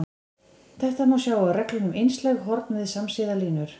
Þetta má sjá af reglunni um einslæg horn við samsíða línur.